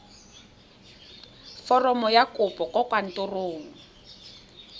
foromo ya kopo kwa kantorong